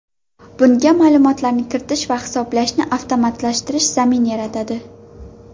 Bunga ma’lumotlarni kiritish va hisoblashni avtomatlashtirish zamin yaratadi.